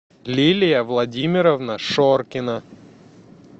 лилия владимировна шоркина